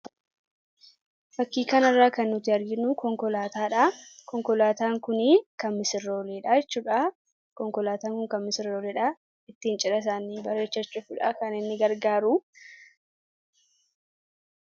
Fakkii kanarraa kan nuti arginu konkolaataa dha. Konkolaataan kunii kan misirroolee dha jechuu dha. Konkolaataan kun kan misirroolee dha. Ittiin cidha isaanii bareechachuufi dha kan inni gargaaru.